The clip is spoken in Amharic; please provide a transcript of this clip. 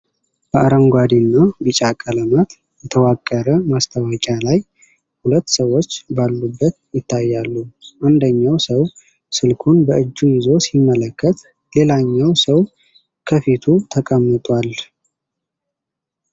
በአረንጓዴና ቢጫ ቀለማት የተዋቀረ ማስታወቂያ ላይ ሁለት ሰዎች ባሉበት ይታያሉ። አንደኛው ሰው ስልኩን በእጁ ይዞ ሲመለከት፣ ሌላኛው ሰው ከፊቱ ተቀምጧል።